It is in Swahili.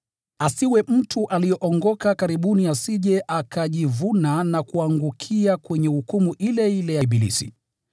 Asiwe mtu aliyeokoka karibuni asije akajivuna na kuangukia kwenye hukumu ile ile ya ibilisi.